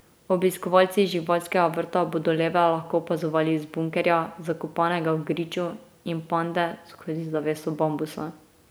Obiskovalci živalskega vrta bodo leve lahko opazovali iz bunkerja, zakopanega v griču, in pande skozi zaveso bambusa.